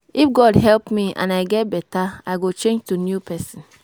If God help me and I get beta I go change to new person